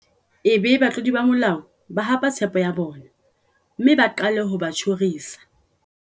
Ebe batlodi ba molao ba hapa tshepo ya bona mme ba qale ho ba tjhorisa.